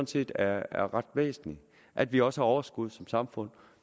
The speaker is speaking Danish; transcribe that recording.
set er er ret væsentligt at vi også har overskud som samfund